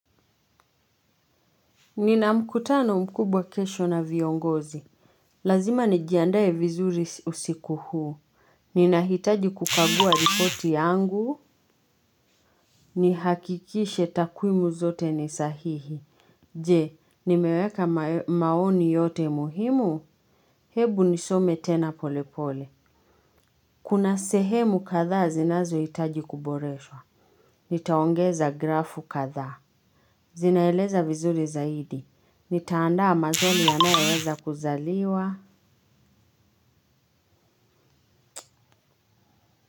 Nina mkutano mkubwa kesho na viongozi. Lazima nijiandae vizuri usiku huu. Ninahitaji kukagua ripoti yangu. Nihakikishe takwimu zote ni sahihi. Je, nimeweka maoni yote muhimu. Hebu nisome tena polepole. Kuna sehemu kadhaa zinazohitaji kuboreshwa. Nitaongeza grafu katha. Zinaeleza vizuri zaidi. Nitaandaa maswali yanayoweza kuzaliwa.